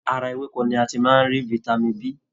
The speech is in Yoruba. Ara ewéko ni a ti máá ń rí Vitamin B.